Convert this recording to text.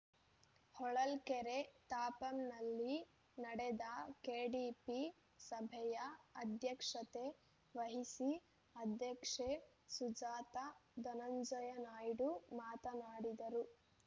ಹೊಳಲ್ಕೆರೆ ತಾಪಂನಲ್ಲಿ ನಡೆದ ಕೆಡಿಪಿ ಸಭೆಯ ಅಧ್ಯಕ್ಷತೆ ವಹಿಸಿ ಅಧ್ಯಕ್ಷೆ ಸುಜಾತ ಧನಂಜಯನಾಯ್ಡು ಮಾತನಾಡಿದರು